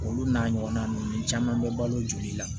Olu n'a ɲɔgɔnna ninnu caman bɛ balo joli la